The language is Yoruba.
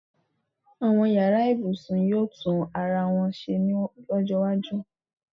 àwọn yara ibusun yíò tun arawọn se fún ojó iwájú